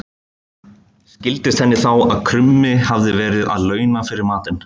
Skildist henni þá að krummi hafði verið að launa fyrir matinn.